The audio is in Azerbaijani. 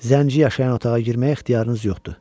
Zənci yaşayan otağa girməyə ixtiyarınız yoxdur.